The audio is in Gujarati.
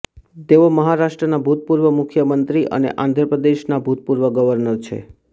તેઓ મહારાષ્ટ્રના ભૂતપૂર્વ મુખ્યમંત્રી અને આંધ્ર પ્રદેશના ભૂતપૂર્વ ગવર્નર છે